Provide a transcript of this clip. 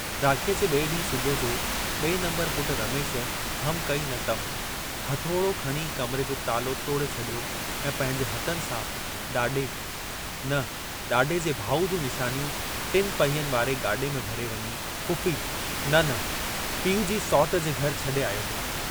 राखीअ जे बिए ॾींहुं सुबुह जो ॿिए नम्बरु पुट रमेश हम कई न तम, हथोड़ो खणी कमरे जो तालो तोड़े छॾियो ऐं पंहिंजे हथनि सां ॾाॾे, न ॾाॾे जे भाउ जूं निशानियूं टिन पहियनि वारे गाॾे में भरे वञी, फुफी न न पीउ जी सौटि जे घर छॾे आयो हो।